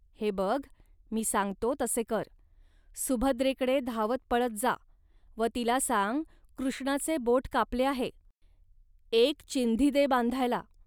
हे बघ, मी सांगतो, तसे कर. सुभद्रेकडे धावतपळत जा व तिला सांग, कृष्णाचे बोट कापले आहे, एक चिंधी दे बांधायला